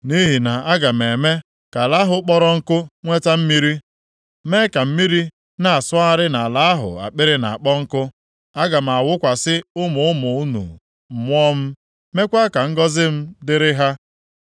Nʼihi na aga m eme ka ala ahụ kpọrọ nkụ nweta mmiri, mee ka mmiri na-asọgharị nʼala ahụ akpịrị na-akpọ nkụ. Aga m awụkwasị ụmụ ụmụ unu Mmụọ m, meekwa ka ngọzị m dịrị ha.